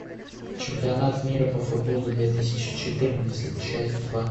чемпионат мира по футболу две тысячи четырнадцать часть два